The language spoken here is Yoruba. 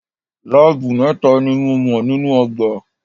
Láábù mẹ́ta ni mo mọ̀ nínú ọgbà.